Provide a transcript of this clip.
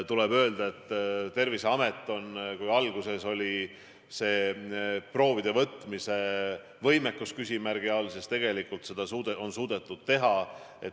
Tuleb öelda, et kui alguses oli Terviseameti võimekus proove võtta küsimärgi all, siis tegelikult on seda suudetud teha.